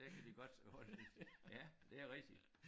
Der kan de godt holde ja det rigtigt